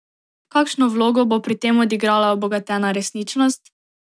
Kakšno vlogo bo pri tem odigrala obogatena resničnost?